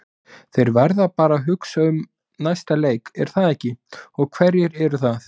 Þeir verða bara að hugsa um næsta leik er það ekki, og hverjir eru það?